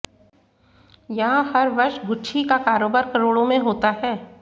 यहां हर वर्ष गुच्छी का कारोबार करोड़ों में होता है